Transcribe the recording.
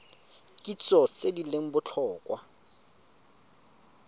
kitso tse di leng botlhokwa